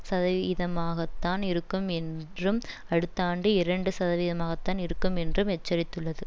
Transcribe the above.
சதவீதமாகத்தான் இருக்கும் என்றும் அடுத்த ஆண்டு இரண்டு சதவீதமாகத்தான் இருக்கும் என்றும் எச்சரித்துள்ளது